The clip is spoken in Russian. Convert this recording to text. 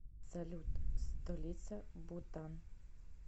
салют столица бутан